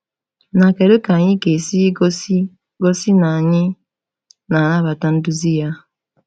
Na kedu ka anyị ga-esi gosi gosi na anyị na-anabata nduzi a?